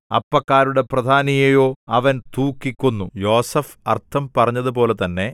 അപ്പക്കാരുടെ പ്രധാനിയെയോ അവൻ തൂക്കികൊന്നു യോസേഫ് അർത്ഥം പറഞ്ഞതുപോലെ തന്നെ